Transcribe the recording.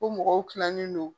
Ko mɔgɔw kilalen don